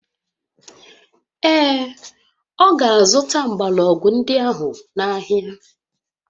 Ee, ọ ga-azụta mgbọrọgwụ ndị ahụ n'ahịa